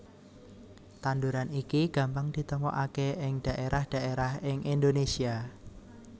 Tanduran iki gampang ditemokaké ing dhaérah dhaérah ing Indonésia